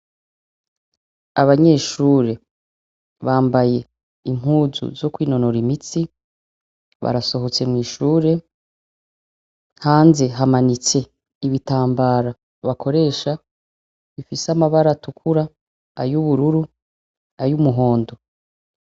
Abanyeshure bambaye impuzu zo kwinonora imitsi, barasohotse mw'ishure, hanze hamanitse ibitambara bakoresha bifise amabara atukura, ay'ubururu, ay'umuhondo.